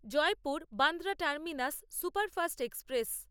Jaipur Bandra terminus superfast express